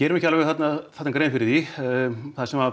ekki alveg grein fyrir því það sem